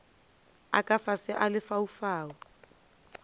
a ka fase a lefaufau